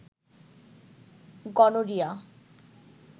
gonorrhoea